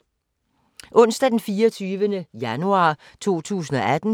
Onsdag d. 24. januar 2018